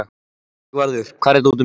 Sigvarður, hvar er dótið mitt?